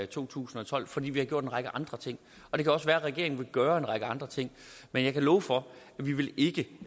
to tusind og tolv fordi vi har gjort en række andre ting og det kan også være at regeringen vil gøre en række andre ting men jeg kan love for at vi ikke